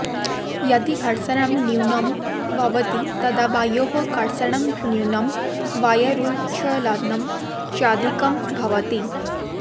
यदि घर्षणं न्यूनं भवति तदा वायोः कर्षणं न्यूनं वायोरुच्छलनं चाधिकं भवति